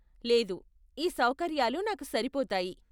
లేదు, ఈ సౌకర్యాలు నాకు సరిపోతాయి.